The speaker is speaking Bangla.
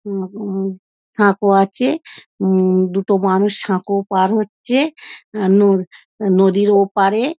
উম উম সাঁকো আছে উম দুটো মানুষ সাঁকো পার হচ্ছে | অ্যাঁ ন নদীর ওপারে।